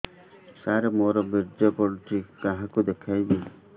ସାର ମୋର ବୀର୍ଯ୍ୟ ପଢ଼ୁଛି କାହାକୁ ଦେଖେଇବି